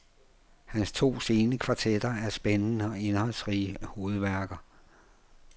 Hans to sene kvartetter er spændende og indholdsrige hovedværker.